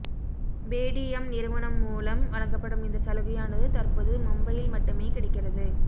Paytm நிறுவனம் மூலம் வழங்கபடும் இந்த சலுகையானது தற்போது மும்பையில் மட்டுமே கிடைக்கிறது